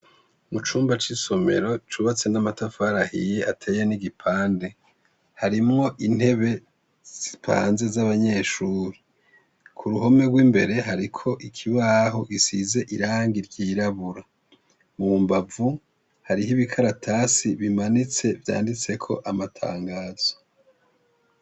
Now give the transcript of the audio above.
Mu cumba c'isomero cubatse n'amatafari ahiye, ateye n'igipande, harimwo intebe zipanze z'abanyeshure. Kuruhome rw'imbere hariko ikibaho gisize irangi ryirabura. Mu mbavu hariho ibikaratasi bimanitse vyanditseko amatangazo.